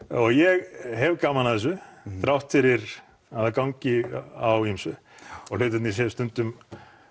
og ég hef gaman að þessu þrátt fyrir að það gangi á ýmsu og hlutirnir séu stundum